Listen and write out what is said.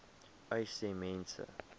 uys sê mense